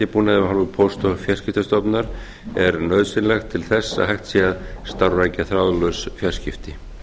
sendibúnaði af hálfu póst og fjarskiptastofnunar er nauðsynlegt til þess að hægt sé að starfrækja þráðlaus fjarskipti